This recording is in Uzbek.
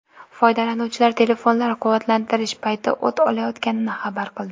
Foydalanuvchilar telefonlar quvvatlantirish payti o‘t olayotganini xabar qildi.